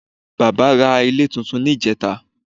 Bàbá ra ilé túntún ní ìjẹ́ta